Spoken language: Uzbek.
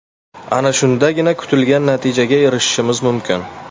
Ana shundagina kutilgan natijaga erishishimiz mumkin”.